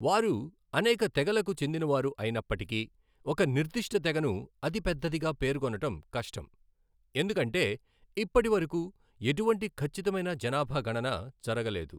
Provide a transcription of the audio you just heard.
వారు అనేక తెగలకు చెందినవారు అయినప్పటికీ, ఒక నిర్దిష్ట తెగను అతిపెద్దదిగా పేర్కొనడం కష్టం, ఎందుకంటే ఇప్పటివరకు ఎటువంటి ఖచ్చితమైన జనాభా గణన జరగలేదు.